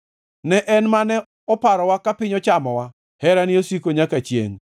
ne En mane oparowa ka piny ochamowa, Herane osiko nyaka chiengʼ.